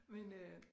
Men øh